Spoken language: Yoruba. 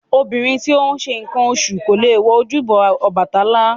Obìnrin tí ó ń ṣe nǹkan oṣù kò lè wọ ojúbọ Ọbàtálá